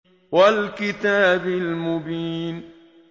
وَالْكِتَابِ الْمُبِينِ